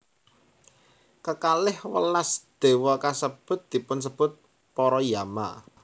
Kekalih welas déwa kasebut dipunsebut para Yama